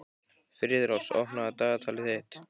Friðrós, opnaðu dagatalið mitt.